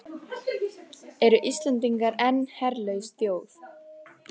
Eru Íslendingar enn herlaus þjóð?